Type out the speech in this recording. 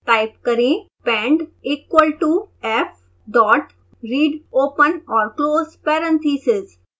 type करें pend equal to f dot read open और close parentheses